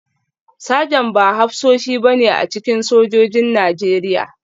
Sajan ba hafsoshi ba ne a cikin sojojin Najeriya